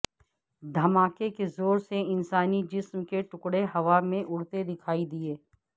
دھماکے کے زور سے انسانی جسم کے ٹکڑے ہوا میں اڑتے دکھائی دیے